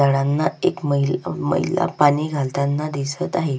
झाडांना एक महिला पाणी घालताना दिसत आहे.